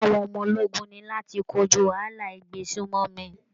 Iṣẹ́ àwọn ọmọ ológun ni láti kojú wàhálà ìgbésùnmọ̀mí